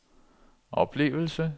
oplevelse